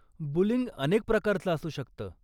Bullying अनेक प्रकारचं असू शकतं.